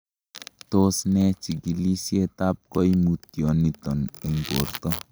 Tos me chikilisietab koimutyoniton en borto?